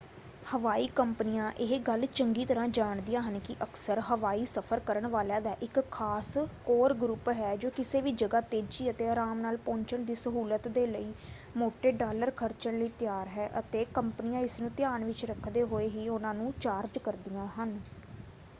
ਹਵਾਈ ਕੰਪਨੀਆਂ ਇਹ ਗੱਲ ਚੰਗੀ ਤਰ੍ਹਾਂ ਜਾਣਦੀਆਂ ਹਨ ਕਿ ਅਕਸਰ ਹਵਾਈ ਸਫ਼ਰ ਕਰਨ ਵਾਲਿਆਂਂ ਦਾ ਇੱਕ ਖਾਸ ਕੋਰ ਗਰੁੱਪ ਹੈ ਜੋ ਕਿਸੇ ਵੀ ਜਗ੍ਹਾ ਤੇਜ਼ੀ ਅਤੇ ਆਰਾਮ ਨਾਲ ਪਹੁੰਚਣ ਦੀ ਸਹੁਲਤ ਦੇ ਲਈ ਮੋਟੇ ਡਾਲਰ ਖਰਚਣ ਲਈ ਤਿਆਰ ਹੈ ਅਤੇ ਕੰਪਨੀਆਂ ਇਸ ਨੂੰ ਧਿਆਨ ਵਿੱਚ ਰੱਖਦੇ ਹੋਏ ਹੀ ਉਹਨਾਂ ਨੂੰ ਚਾਰਜ ਕਰਦੀਆਂ ਹਨ।